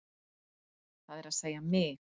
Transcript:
Það er að segja mig.